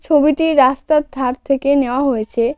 ছবিটি রাস্তার ধার থেকে নেওয়া হয়েছে.